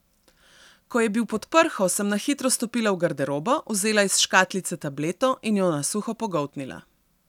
Ko je bil pod prho, sem na hitro stopila v garderobo, vzela iz škatlice tableto in jo na suho pogoltnila.